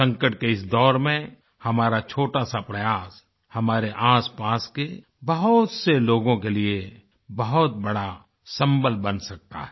संकट के इस दौर में हमारा छोटासा प्रयास हमारे आसपास के बहुत से लोगों के लिए बहुत बड़ा सम्बल बन सकता है